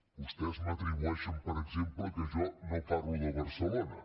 vostès m’atribueixen per exemple que jo no parlo de barcelona